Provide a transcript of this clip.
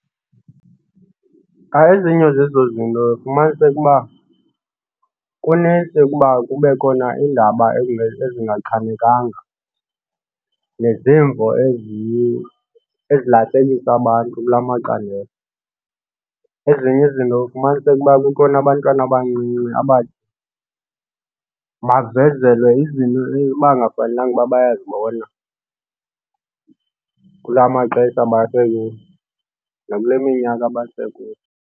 Ezinye zezo zinto uyawufumaniseke uba kunintsi ukuba kube khona iindaba ezingachanekanga nezimvo ezilahlekisa abantu kula macandelo. Ezinye izinto kufumaniseke uba kukhona abantwana abancinci bavezelwe izinto ebekungafanelanga ukuba bayazibona kula maxesha basekuwo nakule minyaka basekuyo.